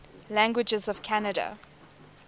languages of canada